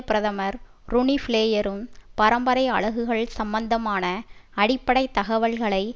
பிரதமர் ரொனிபிளேயரும் பரம்பரை அலகுகள் சம்பந்தமான அடிப்படை தகவல்களை